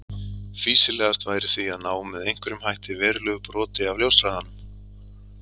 Fýsilegast væri því að ná með einhverjum hætti verulegu broti af ljóshraðanum.